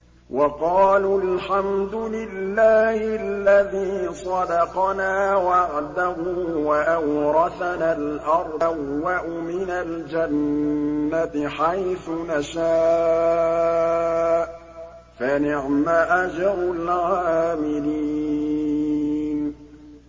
وَقَالُوا الْحَمْدُ لِلَّهِ الَّذِي صَدَقَنَا وَعْدَهُ وَأَوْرَثَنَا الْأَرْضَ نَتَبَوَّأُ مِنَ الْجَنَّةِ حَيْثُ نَشَاءُ ۖ فَنِعْمَ أَجْرُ الْعَامِلِينَ